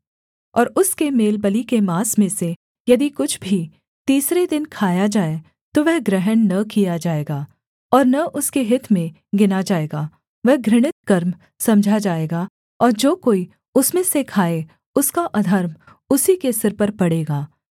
और उसके मेलबलि के माँस में से यदि कुछ भी तीसरे दिन खाया जाए तो वह ग्रहण न किया जाएगा और न उसके हित में गिना जाएगा वह घृणित कर्म समझा जाएगा और जो कोई उसमें से खाए उसका अधर्म उसी के सिर पर पड़ेगा